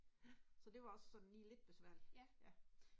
Ja, ja